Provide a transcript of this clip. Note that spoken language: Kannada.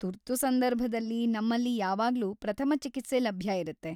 ತುರ್ತು ಸಂದರ್ಭದಲ್ಲಿ, ನಮ್ಮಲ್ಲಿ ಯಾವಾಗ್ಲೂ ಪ್ರಥಮ ಚಿಕಿತ್ಸೆ ಲಭ್ಯ ಇರತ್ತೆ.